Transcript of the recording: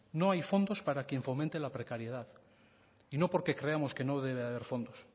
no hay fondos para quien fomente la precariedad y no porque creamos que no deba haber fondos